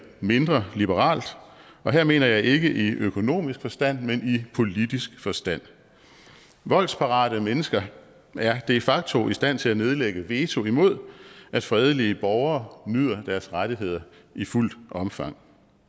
mindre liberalt og her mener jeg ikke i økonomisk forstand men i politisk forstand voldsparate mennesker er de facto i stand til at nedlægge veto imod at fredelige borgere nyder deres rettigheder i fuldt omfang